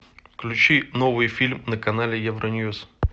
включи новый фильм на канале евроньюс